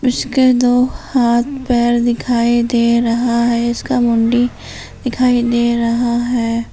इसके दो हाथ पैर दिखाई दे रहा है इसका मुंडी दिखाई दे रहा है।